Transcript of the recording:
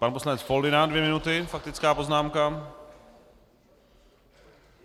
Pan poslanec Foldyna - dvě minuty faktická poznámka.